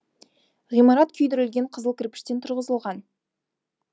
ғимарат күйдірілген қызыл кірпіштен тұрғызылған